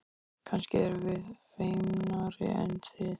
Kannski erum við feimnari en þið.